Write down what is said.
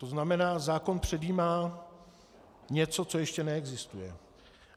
To znamená, zákon předjímá něco, co ještě neexistuje.